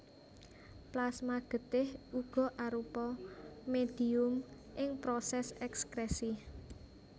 Plasma getih uga arupa médhium ing prosès èkskrèsi